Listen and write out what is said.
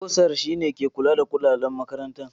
Bursar shine ke kula da kudaden makaranta.